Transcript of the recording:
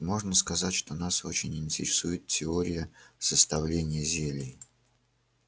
можно сказать что нас очень интересует теория составления зелий